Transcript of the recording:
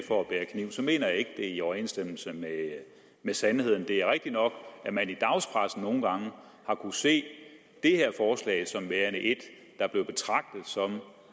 for at bære kniv så mener jeg ikke det er i overensstemmelse med med sandheden det er rigtigt nok at man i dagspressen nogle gange har kunnet se det her forslag som værende et der blev betragtet som